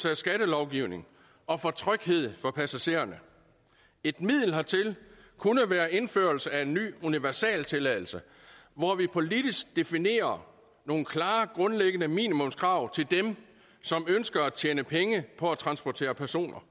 af skattelovgivningen og for tryghed for passagererne et middel hertil kunne være indførelse af en ny universaltilladelse hvor vi politisk definerer nogle klare grundlæggende minimumskrav til dem som ønsker at tjene penge på at transportere personer